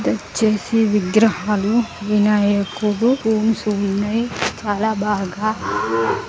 తెచ్చేసి విగ్రహాలు వినాయకుడు రూమ్స్ ఉన్నాయి చాల బాగా--